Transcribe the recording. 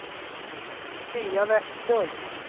Svea Westlund